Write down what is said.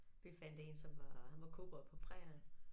Vi fandt 1 som var som var han var cowboy på prærien